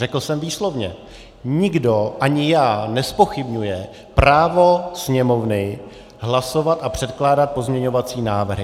Řekl jsem výslovně: nikdo, ani já, nezpochybňuje právo Sněmovny hlasovat a předkládat pozměňovací návrhy.